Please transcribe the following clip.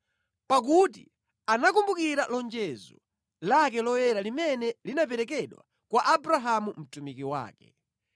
Pakuti anakumbukira lonjezo lake loyera limene linaperekedwa kwa Abrahamu mtumiki wake.